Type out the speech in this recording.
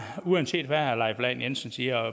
at uanset hvad herre leif lahn jensen siger og